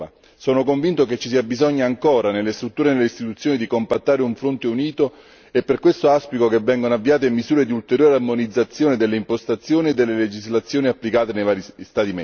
Sono convinto che ci sia bisogno ancora nelle strutture e nelle istituzioni di compattare un fronte unito e per questo auspico che vengano avviate misure di ulteriore armonizzazione delle impostazioni e delle legislazioni applicate nei vari Stati membri.